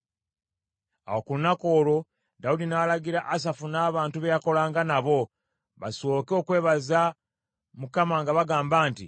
Awo ku lunaku olwo, Dawudi n’alagira Asafu n’abantu be yakolanga nabo, basooke okwebaza Mukama nga bagamba nti: